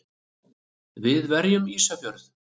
Við verjum Ísafjörð!